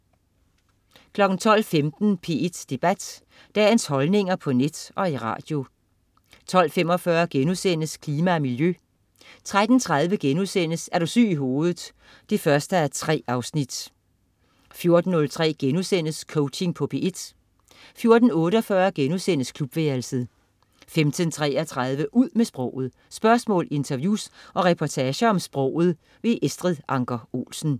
12.15 P1 Debat. Dagens holdninger på net og i radio 12.45 Klima og miljø* 13.30 Er du syg i hovedet 1:3* 14.03 Coaching på P1* 14.48 Klubværelset* 15.33 Ud med sproget. Spørgsmål, interviews og reportager om sproget. Estrid Anker Olsen